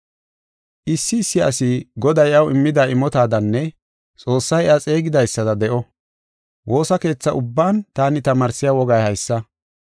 Issi issi asi Goday iyaw immida imotadanne Xoossay iya xeegidaysada de7o. Woosa keetha ubban taani tamaarsiya wogay haysa.